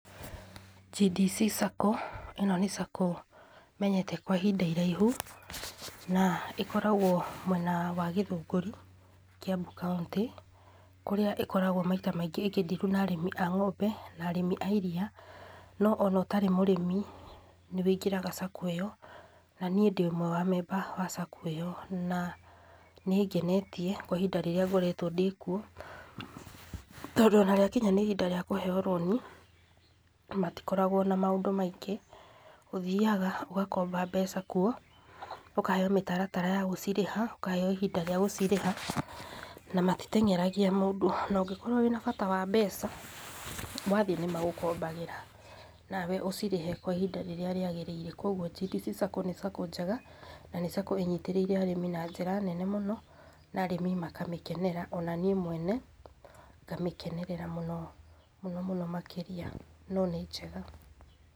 GDC Sacco ĩno nĩ Sacco menyete kwa ihinda iraihu na ĩkoragwo mwena wa Githũngũri, Kiambu County. Kũrĩa ĩkoragwo maita maingĩ ĩkĩ deal na arĩmi a ng'ombe na arĩmi a iria.No ona ũtarĩ mũrĩmi nĩ weingĩraga sacco ĩyo na nĩ ndĩ ũmwe wa amemba a sacco ĩyo. Na nĩ ĩngenetie kwa ihinda rĩrĩa ngoretwo ndĩkwo tondũ ona rĩakinya nĩ ihinda rĩa kuheo roni matikoragwo na maũndũ maingĩ. Ũthiaga ugakomba mbeca kuo ukaheo mĩtaratara ya gũcirĩha, ukaheo ihinda rĩa gucirĩha. Na matiteng'eragia mũndũ .Na ungĩkorwo wĩna bata wa mbeca wathiĩ nima gukombagĩra nawe ucirĩhe kwa ĩhinda rĩrĩa rĩagĩrĩire. Kogwo GDC Sacco ni sacco njega na ni sacco ĩnyitĩrĩire arĩmi na njĩra nene mũno na arĩmi maka mĩkenera. Ona nĩ mwene ngamikenerera mũno, mũno mũno makĩria no nĩ njega.